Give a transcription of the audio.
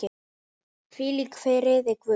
Hvíl í friði Guðs.